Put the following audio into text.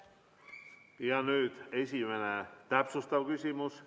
Nüüd esimene täpsustav küsimus.